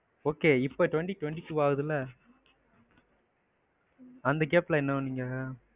okay இப்ப twenty twenty two ஆகுதுல. அந்த gap ல என்ன பண்ணீங்க?